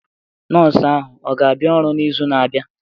Nọọsụ ahụ ọ ga-abịa ọrụ n'izu na-abịa?